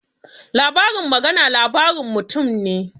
Labarin magana labarin mutum ne